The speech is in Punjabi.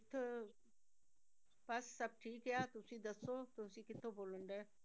ਬਸ ਸਭ ਠੀਕ ਆ ਤੁਸੀਂ ਦੱਸੋ, ਤੁਸੀਂ ਕਿੱਥੋਂ ਬੋਲਣ ਡਿਆ।